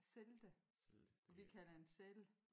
Selde og vi kalder den Celle